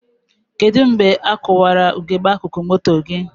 Kedụ mgbe a kụwara ugegbe akụkụ moto gị?